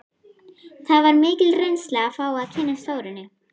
Það var mikil reynsla að fá að kynnast Þórunni.